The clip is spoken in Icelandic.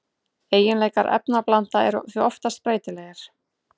Eiginleikar efnablanda eru því oftast breytilegir.